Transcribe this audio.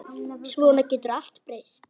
Svona getur allt breyst.